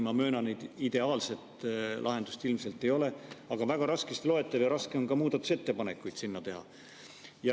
Ma möönan, et ideaalset lahendust ilmselt ei ole, aga see on väga raskesti loetav ja raske on ka muudatusettepanekuid teha.